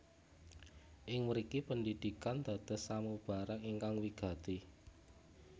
Ing mriki pendidikan dados samubarang ingkang wigati